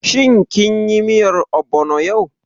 Shin kin yi miyar ogbono yau?